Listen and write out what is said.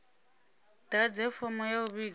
ḓadze fomo ya u vhiga